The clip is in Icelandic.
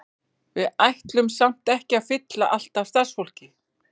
Við ætlum samt ekki að fylla allt af starfsfólki.